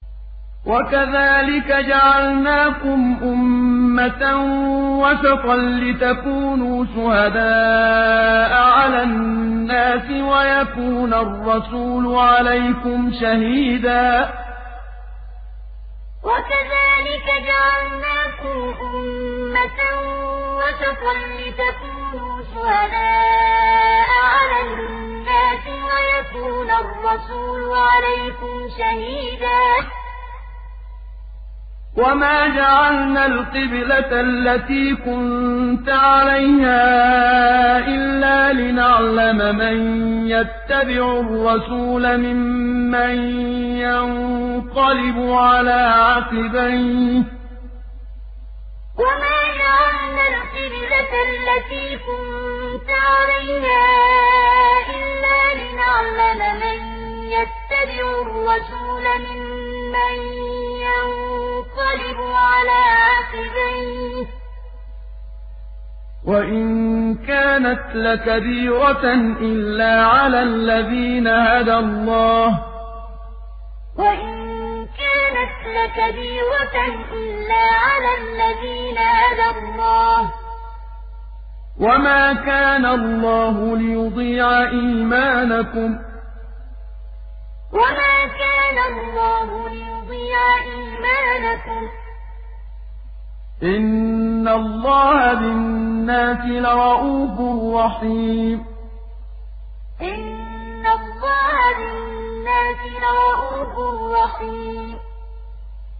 وَكَذَٰلِكَ جَعَلْنَاكُمْ أُمَّةً وَسَطًا لِّتَكُونُوا شُهَدَاءَ عَلَى النَّاسِ وَيَكُونَ الرَّسُولُ عَلَيْكُمْ شَهِيدًا ۗ وَمَا جَعَلْنَا الْقِبْلَةَ الَّتِي كُنتَ عَلَيْهَا إِلَّا لِنَعْلَمَ مَن يَتَّبِعُ الرَّسُولَ مِمَّن يَنقَلِبُ عَلَىٰ عَقِبَيْهِ ۚ وَإِن كَانَتْ لَكَبِيرَةً إِلَّا عَلَى الَّذِينَ هَدَى اللَّهُ ۗ وَمَا كَانَ اللَّهُ لِيُضِيعَ إِيمَانَكُمْ ۚ إِنَّ اللَّهَ بِالنَّاسِ لَرَءُوفٌ رَّحِيمٌ وَكَذَٰلِكَ جَعَلْنَاكُمْ أُمَّةً وَسَطًا لِّتَكُونُوا شُهَدَاءَ عَلَى النَّاسِ وَيَكُونَ الرَّسُولُ عَلَيْكُمْ شَهِيدًا ۗ وَمَا جَعَلْنَا الْقِبْلَةَ الَّتِي كُنتَ عَلَيْهَا إِلَّا لِنَعْلَمَ مَن يَتَّبِعُ الرَّسُولَ مِمَّن يَنقَلِبُ عَلَىٰ عَقِبَيْهِ ۚ وَإِن كَانَتْ لَكَبِيرَةً إِلَّا عَلَى الَّذِينَ هَدَى اللَّهُ ۗ وَمَا كَانَ اللَّهُ لِيُضِيعَ إِيمَانَكُمْ ۚ إِنَّ اللَّهَ بِالنَّاسِ لَرَءُوفٌ رَّحِيمٌ